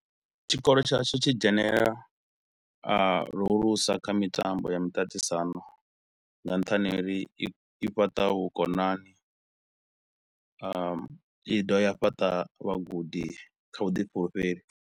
Tshikolo tshashu tshi dzhenelela a lu hulusa kha mitambo ya miṱaṱisano nga nṱhani ha uri i i fhaṱa vhukonani a i dovha ya fhaṱa vhagudi kha vhuḓifhulufheli.